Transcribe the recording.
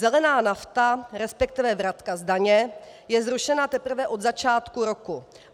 Zelená nafta, respektive vratka z daně, je zrušená teprve od začátku roku.